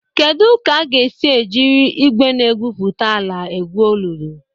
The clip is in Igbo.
Kedu ka a ga-esi jiri igwe na-egwupụta ala egwu olulu?